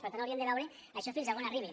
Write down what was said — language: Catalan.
per tant hauríem de veure això fins on arriba